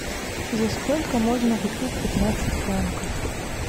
за сколько можно купить пятнадцать франков